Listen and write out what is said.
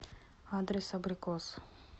адрес абрикос